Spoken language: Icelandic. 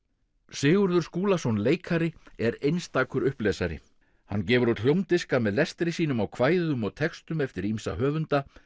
Sigurður Skúlason leikari er einstakur hann gefur út hljómdiska með lestri sínum á kvæðum og textum eftir ýmsa höfunda